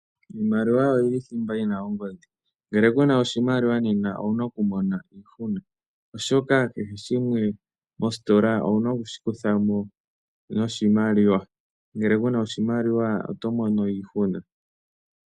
Iimaliwa oyi li thimba yi na ongodhi. Ngele ku na oshimaliwa nena owu na okumona iihuna, oshoka kehe shimwe mositola owu na oku shi kutha mo noshimaliwa. Ngele ku na oshimaliwa oto mono iihuna.